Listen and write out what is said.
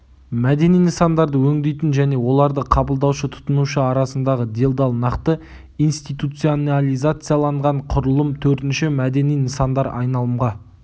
мәдени нысандарды өңдейтін және оларды қабылдаушы-тұтынушы арасындағы делдал нақты институционализацияланған құрылым төртінші мәдени нысандар айналымға